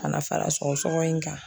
Ka na fara sɔgɔsɔgɔ in kan.